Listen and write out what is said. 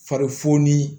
Fari foni